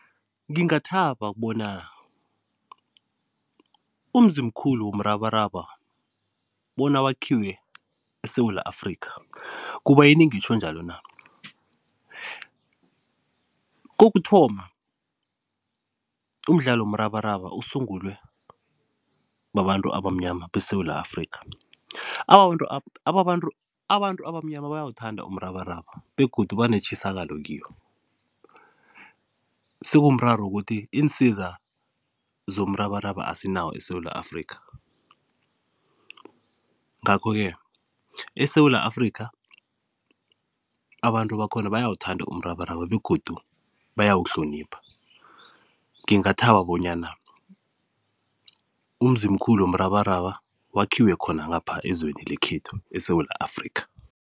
Ngingathaba ukubona umzimkhulu womrabaraba bona wakhiwe eSewula Afrikha, kubayini ngitjho njalo na? Kokuthoma, umdlalo womrabaraba usungulwe babantu abamnyana beSewula Afrikha abantu abamnyama bayawuthanda umrabaraba begodu banetjisakalo kiwo, sekumraro ukuthi iinsiza zomrabaraba asinawo eSewula Afrikha. Ngakho-ke eSewula Afrikha, abantu bakhona bayawuthanda umrabaraba begodu bayawuhlonipha, ngingathaba bonyana umzimkhulu womrabaraba wakhiwe khona ngapha ezweni lekhethu eSewula Afrikha.